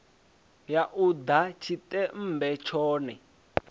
ya u ḓa tshiṱemmbe tshone